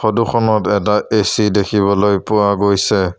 ফটোখনত এটা এ_চি দেখিবলৈ পোৱা গৈছে।